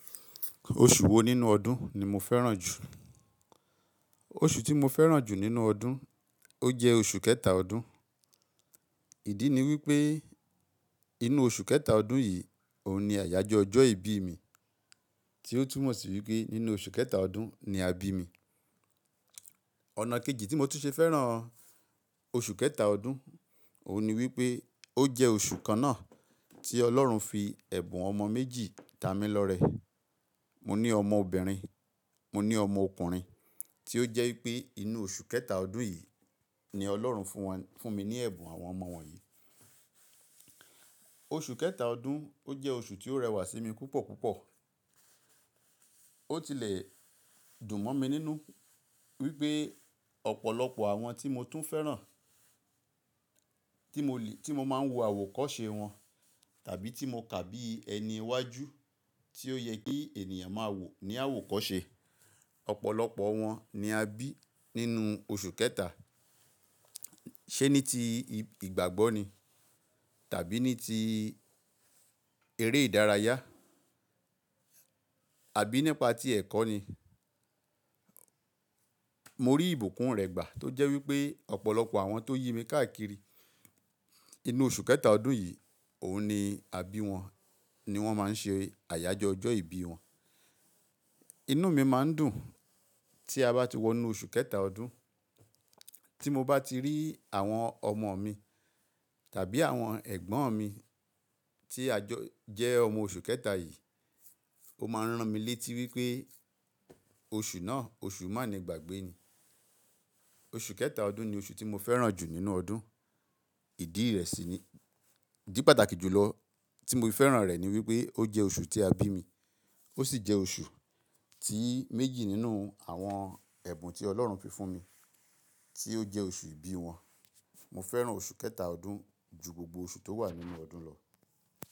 Oṣù wo nínú ọdún ni mo fẹ́ràn jù? Oṣù tí mo fẹ́ràn jù nínú ọdún, ó jẹ́ oṣù kẹta ọdún. Ìdí ni wí pé inú oṣù kẹta ọdún yìí òun ni àyájọ́ ọjọ́ ìbí mi, tí ó túmọ̀ sí wí pé nínú oṣù kẹta ọdún ni a bí mi. Ọ̀nà kejì tí mo tún ṣe fẹ́ràn oṣù kẹta ọdún òun ni wípé ó jẹ́ oṣù kan náà tí Ọlọ́run fi ẹ̀bùn ọmọ méjì ta mi lọ́rẹ. Mo ní ọmọ obìnrin, mo ní ọmọ ọkùnrin, tí ó jẹ́ wípé inú oṣù kẹta ọdún yìí ni Ọlọ́run fún wọn, fún mi ní ẹ̀bùn àwọn ọmọ wọ̀nyí. Oṣù kẹta ọdún ó jẹ́ oṣù tí ó rẹwà sí mi púpọ̀ púpọ̀. Ó tilẹ̀ dùn mọ́ mi nínú wípé ọ̀pọ̀lọpọ̀ àwọn tí mo tún fẹ́ràn, Àwọn tí mo le, tí mo máa ń wo àwọ̀kọ́ṣe wọn tàbí tí mo kà bí ẹni iwájú tí ó yẹ kí ènìyàn máa wò ní àwọ̀kọ́ṣe, ọ̀pọ̀lọpọ̀ wọn ni a bí nínú oṣù kẹta. Ṣé ní ti ìgbàgbọ́ ni? Tàbí ní ti eré ìdárayá Àbí nípa ti ẹ̀kọ́ ni? Mo rí ìbùkún rẹ̀ gbà tó jẹ́ wípé ọ̀pọ̀lọpọ̀ àwọn tó yí mi káàkiri inú oṣù kẹta ọdún yìí, òun ni, àbí wọn ni wọ́n máa ń ṣe àyájọ́ ọjọ́ ìbí wọn. Inú mi máa ń dùn tí a bá ti wọ inú oṣù kẹta ọdún. Tí mo bá ti rí àwọn ọmọ mi tàbí àwọn ẹ̀gbọ́n mi tí a jọ, jẹ́ ọmọ oṣù kẹta yìí, ó máa ń rán mi létí wí pé oṣù náà oṣù má ni ìgbàgbé ni. Oṣù kẹta ọdún ni oṣù tí mo fẹ́ràn jù nínú ọdún. Ìdí rẹ̀ sì ni, di pàtàkì jù lọ tí mo fi fẹ́ràn rẹ̀ ni wí pé ó jẹ́ oṣù tí a bí mi, ó sì jẹ́ oṣù tí méjì nínú àwọn ẹ̀bùn tí Ọlọ́run fi fún mi tí ó jẹ́ oṣù ìbí wọn. Mo fẹ́ràn oṣù kẹta ọdún ju gbogbo oṣù tó wà nínú ọdún lọ.